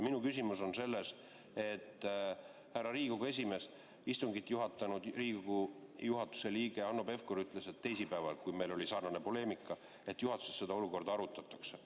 Minu küsimus on selles, härra Riigikogu esimees, et istungit juhatanud Riigikogu juhatuse liige Hanno Pevkur ütles teisipäeval, kui meil oli sarnane poleemika, et juhatuses seda olukorda arutatakse.